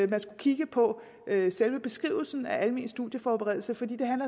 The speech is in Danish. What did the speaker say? man skulle kigge på selve beskrivelsen af almen studieforberedelse fordi det